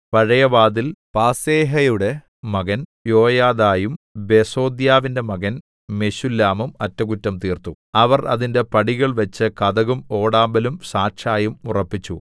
പഴയവാതിൽ പാസേഹയുടെ മകൻ യോയാദയും ബെസോദ്യാവിന്റെ മകൻ മെശുല്ലാമും അറ്റകുറ്റം തീർത്തു അവർ അതിന്റെ പടികൾ വെച്ച് കതകും ഓടാമ്പലും സാക്ഷയും ഉറപ്പിച്ചു